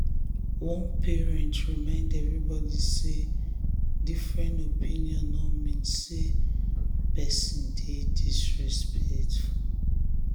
one parent remind everybody say different opinion no mean say person dey disrespect.